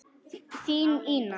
Þín Ína.